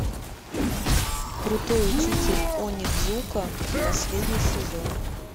крутой учитель онидзука последний сезон